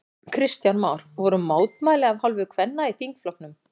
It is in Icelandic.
Kristján Már: Voru mótmæli af hálfu kvenna í þingflokknum?